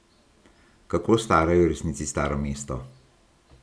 Kako staro je v resnici Staro mesto?